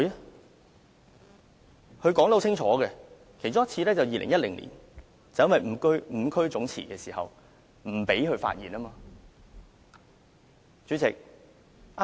她說得很清楚，其中一次是2010年五區總辭的時候，建制派不想讓民主派議員發言。